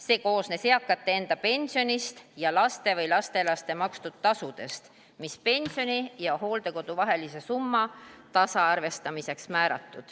See koosnes eakate enda pensionist ja laste või lastelaste makstud tasudest, mis on määratud pensioni ja hooldekodu vahelise summa tasaarvestamiseks.